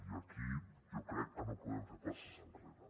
i aquí jo crec que no podem fer passes enrere